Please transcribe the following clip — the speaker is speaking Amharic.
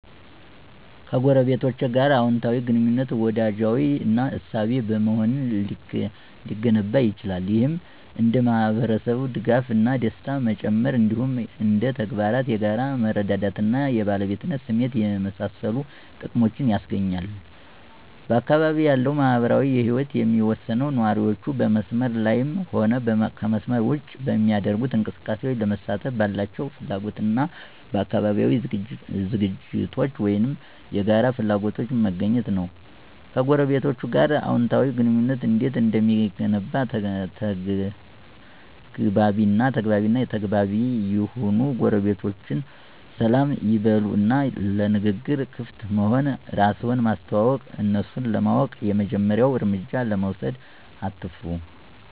ከጎረቤቶች ጋር አወንታዊ ግንኙነት፣ ወዳጃዊ እና አሳቢ በመሆን ሊገነባ ይችላል። ይህም እንደ የማህበረሰብ ድጋፍ እና ደስታ መጨመር፣ እንዲሁም እንደ ተግባራት የጋራ መረዳዳት እና የባለቤትነት ስሜትን የመሳሰሉ ጥቅሞችን ያስገኛል። በአካባቢው ያለው ማህበራዊ ህይወት የሚወሰነው ነዋሪዎቹ በመስመር ላይም ሆነ ከመስመር ውጭ በሚደረጉ እንቅስቃሴዎች ለመሳተፍ ባላቸው ፍላጎት እና በአካባቢያዊ ዝግጅቶች ወይም የጋራ ፍላጎቶች መገኘት ነው። ከጎረቤቶቸ ጋር አዎንታዊ ግንኙነት እንዴት እንደሚገነባ ተግባቢ እና ተግባቢ ይሁኑ ጎረቤቶችዎን ሰላም ይበሉ እና ለንግግር ክፍት መሆን፣ እራስን ማስተዋወቅ፣ እነሱን ለማወቅ የመጀመሪያውን እርምጃ ለመውሰድ አትፍሩ።